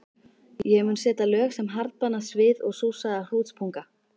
Ég mun setja lög sem harðbanna svið og súrsaða hrútspunga.